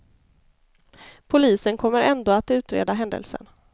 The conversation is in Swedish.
Polisen kommer ändå att utreda händelsen.